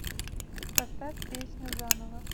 поставь песню заново